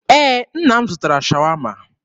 Ee, nna m zụtara Shawama.